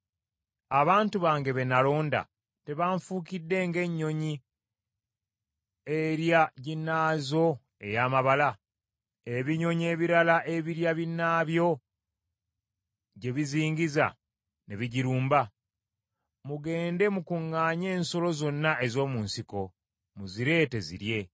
Abantu bange be nalonda tebanfuukidde ng’ennyonyi erya ginnaazo ey’amabala, ebinyonyi ebirala ebirya binaabyo gye bizingiza ne bigirumba? Mugende mukuŋŋaanye ensolo zonna ez’omu nsiko muzireete zirye.